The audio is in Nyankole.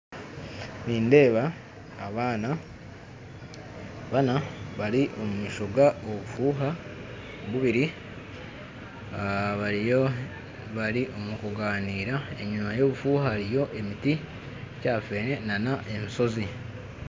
Nindeeba abaana bana bari omu maisho g'obufuuha bubiri, bari omu kunganiira , enyima y'obufuuha hariyo ekiti kya feene na n'eshoozi